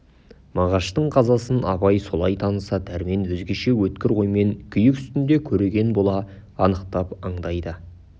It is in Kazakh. мағаштың қазасын абай солай таныса дәрмен өзгеше өткір оймен күйік үстінде көреген бола анықтап андайды